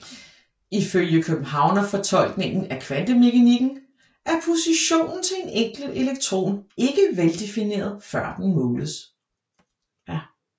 Ifølge Københavnerfortolkningen af kvantemekanikken er positionen til en enkelt elektron ikke veldefineret før den måles